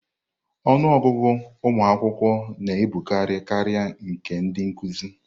Ọnụ ọgụgụ ụmụ akwụkwọ na-abụkarị karịa nke ndị nkuzi.